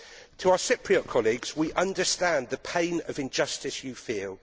To our Cypriot colleagues we understand the pain of injustice you feel.